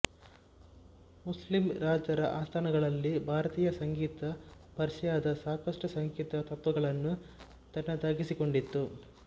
Muslim ರಾಜರ ಆಸ್ಥಾನಗಳಲ್ಲಿ ಭಾರತೀಯ ಸಂಗೀತ ಪರ್ಷಿಯದ ಸಾಕಷ್ಟು ಸಂಗೀತ ತತ್ವಗಳನ್ನು ತನ್ನದಾಗಿಸಿಕೊಂಡಿತು